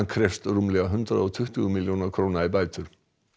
krefst rúmlega hundrað og tuttugu milljóna króna í bætur